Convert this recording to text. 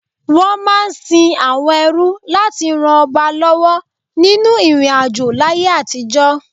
Wọ́n máa ń sin àwọn ẹrú láti ràn ọba lọ́wọ́ nínú ìrìnàjò láyé àtijọ́.